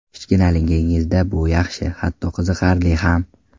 Kichkinaligingizda bu yaxshi, hatto qiziqarli ham.